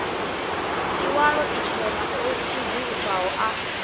iwalo itshena o sedzuluswaho a